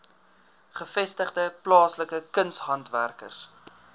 gevestigde plaaslike kunshandwerkers